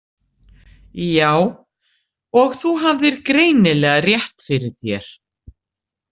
Já, og þú hafðir greinilega rétt fyrir þér.